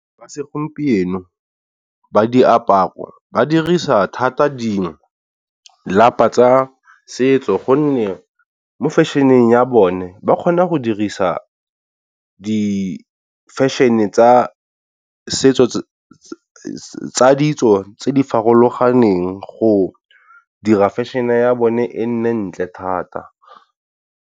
Ba segompieno ba diaparo ba dirisa thata di lapa tsa setso gonne mo fashion-eng ya bone ba kgona go dirisa di-fashion-e tsa setso tsa ditso tse di farologaneng go dira fashion-e ya bone e nne ntle thata.